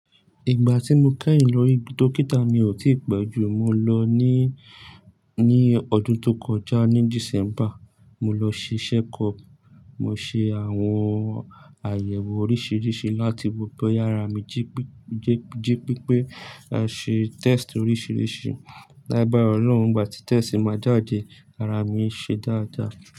Ìgbà tí mo kẹ́yìn lọ ri dókítà mi ò tí pẹ́ jù. Mo lọ ní, ní ọdún tó kọjá ní December. Mo lọ ṣe checkup. Mo ṣe àwọn àyẹ̀wò oríṣiríṣi láti mọ bí ara mi jípé, jípé pé a ṣe test oríṣiríṣi. Lágbara Ọlọ́run ìgbà tí test máa jade, ara mi ṣe dáadáa.